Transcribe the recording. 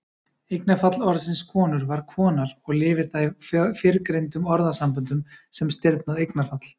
Eignarfall orðsins konur var konar og lifir það í fyrrgreindum orðasamböndum sem stirðnað eignarfall.